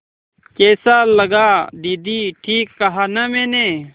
कैसा लगा दीदी ठीक कहा न मैंने